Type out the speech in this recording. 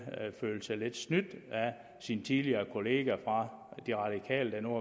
føler sig lidt snydt af sin tidligere kollega fra de radikale der nu